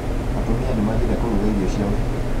Atumia nĩmathire kũruga irio cia ũhiki